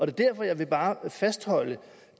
er derfor at jeg bare vil fastholde